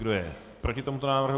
Kdo je proti tomuto návrhu?